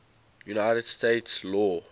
united states law